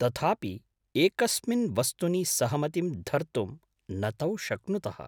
तथापि एकस्मिन् वस्तुनि सहमतिं धर्तुं न तौ शक्नुतः।